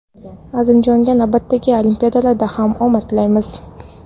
Azimjonga navbatdagi olimpiadalarda ham omad tilaymiz!.